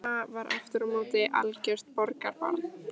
Mamma var aftur á móti algjört borgarbarn.